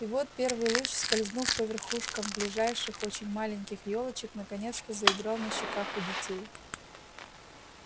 и вот первый луч скользнув по верхушкам ближайших очень маленьких ёлочек наконец-то заиграл на щеках у детей